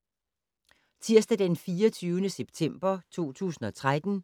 Tirsdag d. 24. september 2013